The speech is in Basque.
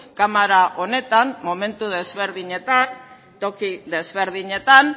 kamara honetan momentu desberdinetan toki desberdinetan